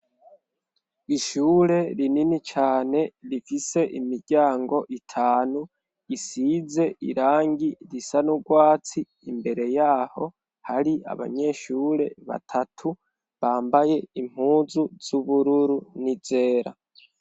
Ishure rinini cane rifise imiryango itanu isize irangi risa n'urwatsi imbere yaho hari abanyeshure batatu bambaye impuzu z'ubururu n'izera.